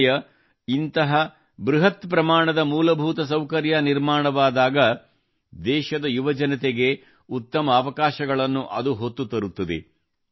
ಕ್ರೀಡೆಯ ಇಂಥ ಬೃಹತ್ ಪ್ರಮಾಣದ ಮೂಲಭೂತ ಸೌಕರ್ಯದ ನಿರ್ಮಾಣವಾದಾಗ ದೇಶದ ಯುವಜನತೆಗೆ ಉತ್ತಮ ಅವಕಾಶಗಳನ್ನು ಹೊತ್ತು ತರುತ್ತದೆ